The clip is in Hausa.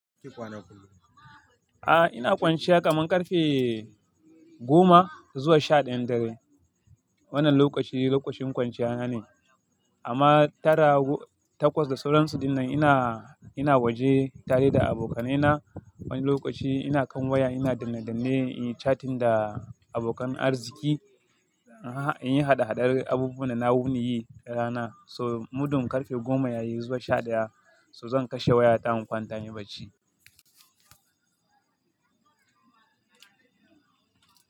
A'a ina kwanciya kaman ƙarfe goma zuwa sha ɗayan dare. Wannan lokaci lokacin kwanciya na ne. Amma tara takwas da sauransu dinnan ina, ina waje tare da abokanai na. Wani lokaci ina kan waya ina danne danne yin chatting da abokan arziki. Ina yin hada hadar abubuwa da na wuni yi rana so mudun ƙarfe goma yayi zuwa sha ɗaya so zan kashe waya ta in kwanta inyi barci.